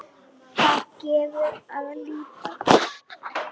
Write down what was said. Þar gefur að líta